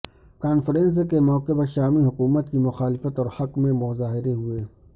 conference کے موقع پر شامی حکومت کی مخالفت اور حق میں مظاہرے ہوئے